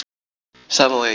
Samóaeyjar